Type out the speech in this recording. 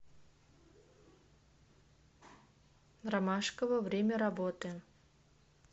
ромашково время работы